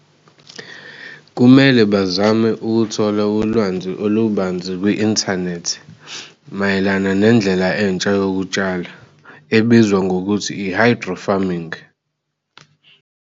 Kumele bazame ukuthola ulwanzi olubanzi kwi-inthanethi mayelana nendlela entsha yokutshala ebizwa ngokuthi i-hydro farming.